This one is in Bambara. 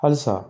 Halisa